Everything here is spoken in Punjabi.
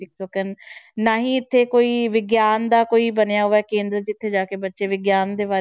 ਕਰਨ, ਨਾ ਹੀ ਇੱਥੇ ਕੋਈ ਵਿਗਿਆਨ ਦਾ ਕੋਈ ਬਣਿਆ ਹੋਇਆ ਕੇਂਦਰ ਜਿੱਥੇ ਜਾ ਕੇ ਬੱਚੇ ਵਿਗਿਆਨ ਦੇ ਬਾਰੇ